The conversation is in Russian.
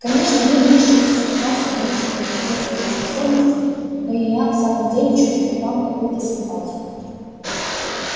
конечно вы низшие существа с ограниченными мыслительными способностями но и я в самом деле чувствую к вам какую-то симпатию